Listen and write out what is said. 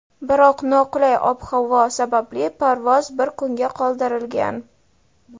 biroq noqulay ob-havo sababli parvoz bir kunga qoldirilgan.